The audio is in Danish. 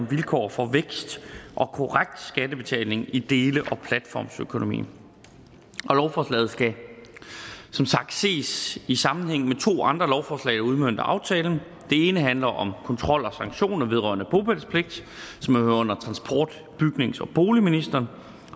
vilkår for vækst og korrekt skattebetaling i dele og platformsøkonomien lovforslaget skal som sagt ses i sammenhæng med to andre lovforslag der udmønter aftalen det ene handler om kontrol og sanktioner vedrørende bopælspligt og hører under transport bygnings og boligministeren